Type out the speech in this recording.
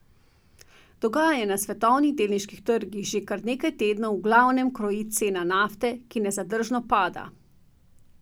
Dogajanje na svetovnih delniških trgih že kar nekaj tednov v glavnem kroji cena nafte, ki nezadržno pada.